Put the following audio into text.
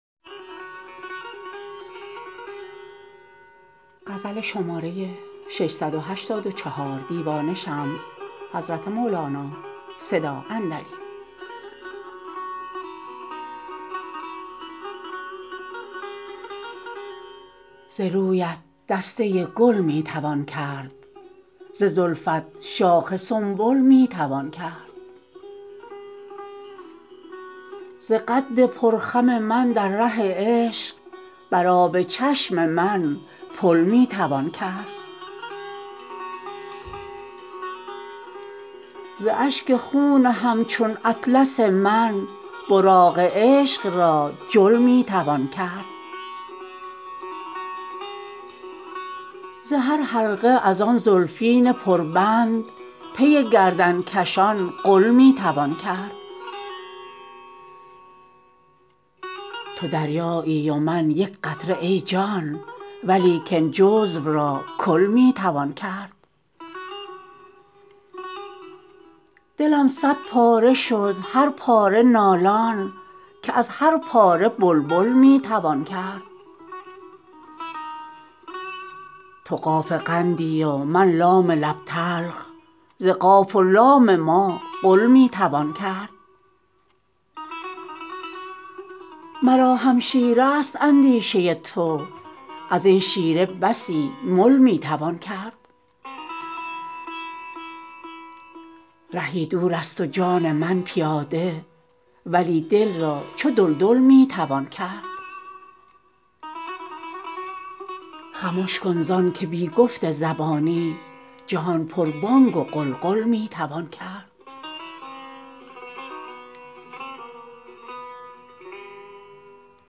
ز رویت دسته گل می توان کرد ز زلفت شاخ سنبل می توان کرد ز قد پرخم من در ره عشق بر آب چشم من پل می توان کرد ز اشک خون همچون اطلس من براق عشق را جل می توان کرد ز هر حلقه از آن زلفین پربند پر گردن کشان غل می توان کرد تو دریایی و من یک قطره ای جان ولیکن جزو را کل می توان کرد دلم صدپاره شد هر پاره نالان که از هر پاره بلبل می توان کرد تو قاف قندی و من لام لب تلخ ز قاف و لام ما قل می توان کرد مرا همشیره است اندیشه تو از این شیره بسی مل می توان کرد رهی دورست و جان من پیاده ولی دل را چو دلدل می توان کرد خمش کن زان که بی گفت زبانی جهان پربانگ و غلغل می توان کرد